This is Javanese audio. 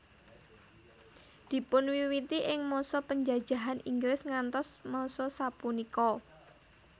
Dipunwiwiti ing masa penjajahan Inggris ngantos masa sapunika